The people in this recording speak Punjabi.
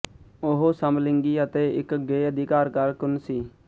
ਉਹ ਸਮਲਿੰਗੀ ਅਤੇ ਇੱਕ ਗੇਅ ਅਧਿਕਾਰ ਕਾਰਕੁੰਨ ਸੀ